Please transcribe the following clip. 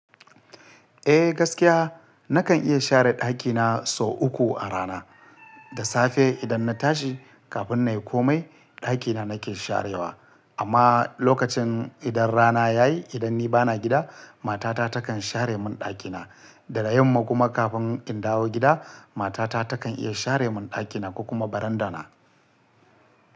Eh gaskiya nakan iya share ɗakina sau uku a rana. Da safe idan na tashi kafin na yi komai ɗakina nake sharewa. Amma lokacin idan rana yayi idan ni bana gida matata takan share mun ɗakina. Daga yamma kuma kafin in dawo gida matata takan iya share mun ɗakina ko kuma barandana.